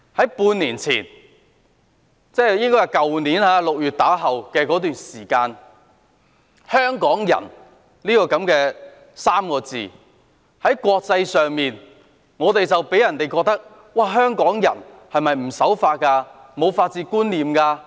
半年前，即去年6月後，"香港人"這3個字在國際間予人的感覺是，香港人是否不守法和沒有法治觀念？